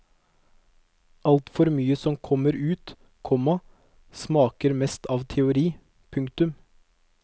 Alt for mye som kommer ut, komma smaker mest av teori. punktum